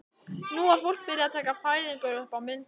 Nú var fólk byrjað að taka fæðingar upp á myndbönd.